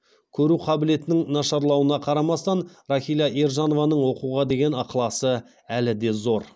көру қабілетінің нашарлауына қарамастан рахила ержанованың оқуға деген ықыласы әлі де зор